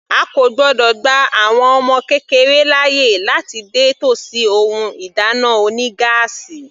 A kò gbọ́dọ̀ gba àwọn ọmọ kékeré láàyè láti dé tòsí ohun ìdáná oní gáásì.